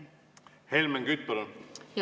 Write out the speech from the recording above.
Helmen Kütt, palun!